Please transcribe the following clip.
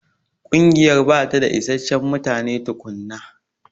Ƙungiyar bata da isasshen mutane tukunna.